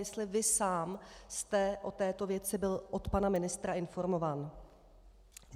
Jestli vy sám jste o této věci byl od pana ministra informován.